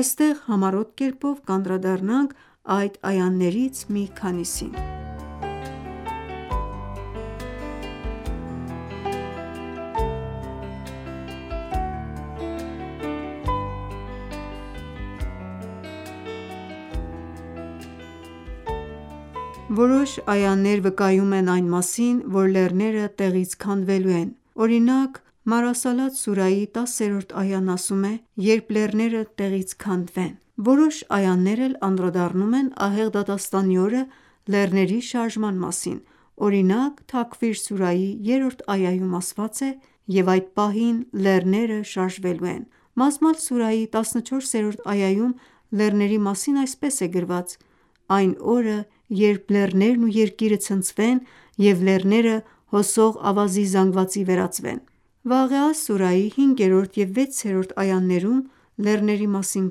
Այստեղ համառոտ կերպով կանդրադառնանք այդ այաներից մի քանիսին: Որոշ այաներ վկայում են այն մասին, որ լեռները տեղից քանդվելու են, օրինակ «Մորսալաթ» սուրայի 10-րդ այան ասում է. «Երբ լեռները տեղից քանդվեն»: Որոշ այաներ էլ անդրադառնում են ահեղ դատաստանի օրը լեռների շարժման մասին: Օրինակ «Թաքվիր» սուրայի 3-րդ այաում ասված է. «Եվ այդ պահին լեռները շարժվելու են»: «Մազմալ» սուրայի 14-րդ այաում լեռների մասին այսպես է գրված. «Այն օրը երբ լեռներն ու Երկիրը ցնցվեն և լեռները հոսող ավազի զանգվածի վերածվեն»: «Վաղեա» սուրայի 5-րդ և 6-րդ այաներում լեռների մասին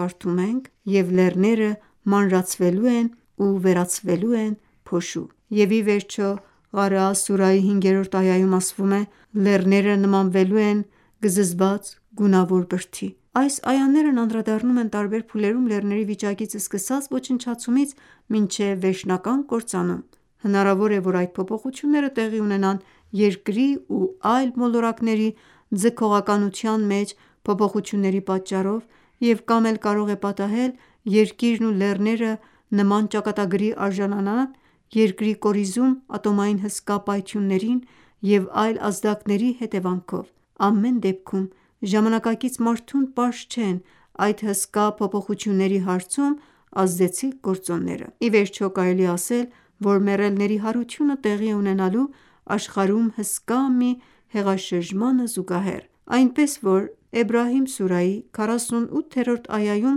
կարդում ենք. «Եվ լեռները մանրացվելու են ու վերածվելու են փոշու»: Եվ ի վերջո «Ղարեա» սուրայի 5-րդ այաում ասված է. «Լեռները նմանվելու են գզզված գունավոր բրդի»: Այս այաներն անդրադառնում են տարբեր փուլերում լեռների վիճակից սկսած ոչնչացումից մինչև վերջնական կործանում: Հնարավոր է, որ այդ փոփոխությունները տեղի ունենան Երկրի ու այլ մոլորակների ձգողականության մեջ փոփոխությունների պատճառով և կամ էլ կարող է պատահել Երկիրն ու լեռները նման ճակատագրի արժանանան Երկրի կորիզում ատոմային հսկա պայթյունների և այլ ազդակների հետևանքով: Ամեն դեպքում ժամանակակից մարդուն պարզ չեն այդ հսկա փոփոխությունների հարցում ազդեցիկ գործոնները: Ի վերջո կարելի է ասել, որ մեռելների հարությունը տեղի է ունենալու աշխարհում հսկա մի հեղաշրջմանը զուգահեռ: Այնպես որ «Էբրահիմ» սուրայի 48-րդ այաում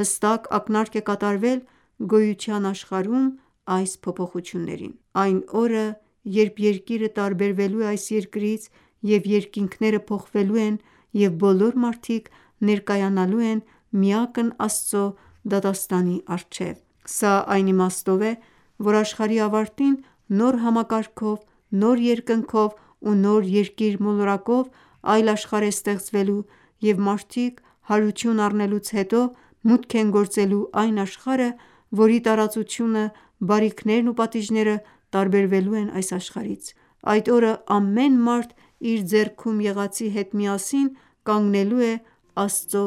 հստակ ակնարկ է կատարվել գոյության աշխարհում այս փոփոխություններին: «Այն օրը երբ Երկիրը տարբերվելու է այս Երկրից և երկինքները փոխվելու են և բոլոր մարդիկ ներկայանալու են միակն Աստծո դատաստանի առջև»: Սա այն իմաստով է, որ աշխարհի ավարտին նոր համակարգով, նոր երկնքով ու նոր Երկիր մոլորակով այլ աշխարհ է ստեղծվելու և մարդիկ հարություն առնելուց հետո մուտք են գործելու այն աշխարհը, որի տարածությունը, բարիքներն ու պատիժները տարբերվելու են այս աշխարհից: Այդ օրը ամեն մարդ իր ձեռքում եղածի հետ միասին կանգնելու է Աստծո